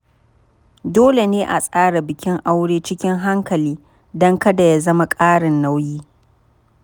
Dole ne a tsara bikin aure cikin hankali don kada ya zama ƙarin nauyi.